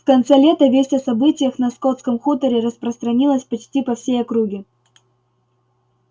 в конце лета весть о событиях на скотском хуторе распространилась почти по всей округе